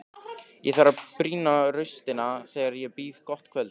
Ég þarf að brýna raustina þegar ég býð gott kvöld.